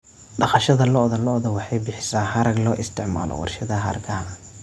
Dhaqashada lo'da lo'da waxay bixisaa harag loo isticmaalo warshadaha hargaha.